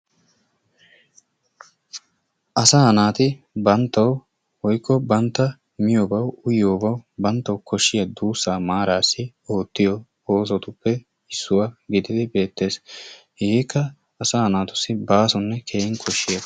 Asaa naati banttawu woykko banttawu miyoobawu uyiyoobawu banttawu kooshiyaa duussaa maaraasi oottiyoo oosotuppe issuwaa giidid beettees. Hegeekka asaa naatussi baasonne keehin kooshshiyaaba.